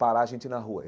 Parar a gente na rua.